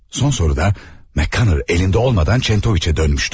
Son soruda McConner əlində olmadan Çentoviçə dönmüşdü.